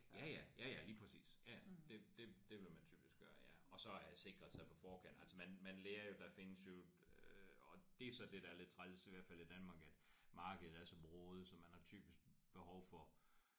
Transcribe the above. Ja ja. Ja ja lige præcis ja det det det vil man typisk gøre ja. Og så have sikret sig på forkant altså man man lærer jo der findes jo øh og det er så det der er lidt træls i hvert fald i Danmark at markedet er så broget så man har typisk behov for